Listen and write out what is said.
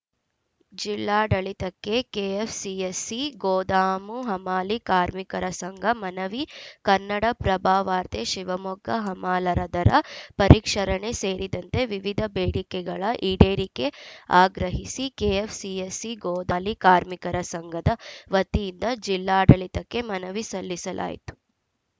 ಜಿಲ್ಲಾಡಳಿತಕ್ಕೆ ಕೆಎಫ್‌ಸಿಎಸ್‌ಸಿ ಗೋದಾಮು ಹಮಾಲಿ ಕಾರ್ಮಿಕರ ಸಂಘ ಮನವಿ ಕನ್ನಡಪ್ರಭವಾರ್ತೆ ಶಿವಮೊಗ್ಗ ಹಮಾಲರ ದರ ಪರಿಷ್ಕರಣೆ ಸೇರಿದಂತೆ ವಿವಿಧ ಬೇಡಿಕೆಗಳ ಈಡೇರಿಕೆ ಆಗ್ರಹಿಸಿ ಕೆಎಫ್‌ಸಿಎಸ್‌ಸಿ ಗೋದಲಿ ಕಾರ್ಮಿಕರ ಸಂಘದ ವತಿಯಿಂದ ಜಿಲ್ಲಾಡಳಿತಕ್ಕೆ ಮನವಿ ಸಲ್ಲಿಸಲಾಯಿತು